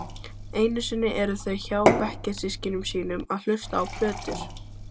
Einusinni eru þau hjá bekkjarsystkinum sínum að hlusta á plötur.